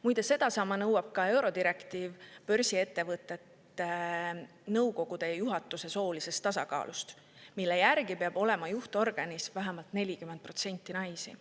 Muide, sedasama nõuab ka eurodirektiiv börsiettevõtete nõukogude ja juhatuse soolisest tasakaalust, mille järgi peab olema juhtorganis vähemalt 40% naisi.